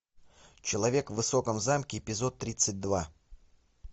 человек в высоком замке эпизод тридцать два